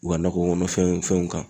U ka nakɔ kɔnɔ fɛn fɛnw kan.